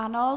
Ano.